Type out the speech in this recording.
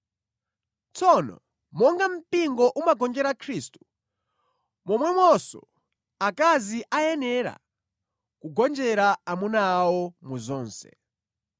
Tsono monga mpingo umagonjera Khristu, momwemonso akazi akuyenera kugonjera amuna awo mu zonse.